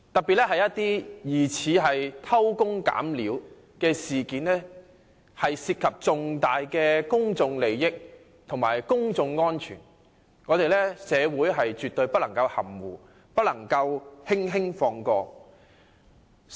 由於疑似偷工減料的事件涉及重大公眾利益和公眾安全，社會絕對不能含糊，不能輕易放過。